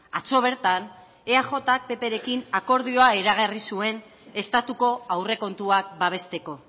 atzo bertan eajk pprekin akordioa iragarri zuen estatuko aurrekontuak babesteko